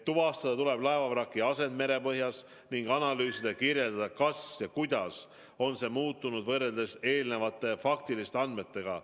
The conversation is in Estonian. Tuvastada tuleb laevavraki asend merepõhjas ning analüüsida ja kirjeldada, kas ja kui, siis kuidas on see muutunud võrreldes varasemate faktiliste andmetega.